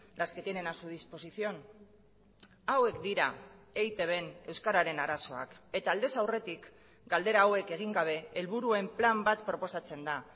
las que tienen a su disposición hauek dira eitbn euskararen arazoak eta aldez aurretik galdera hauek egin gabe helburuen plan bat proposatzen da